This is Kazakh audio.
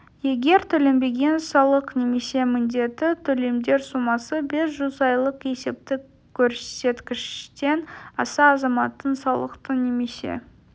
егер төленбеген салық немесе міндетті төлемдер сомасы бес жүз айлық есептік көрсеткіштен асса азаматтың салықты немесе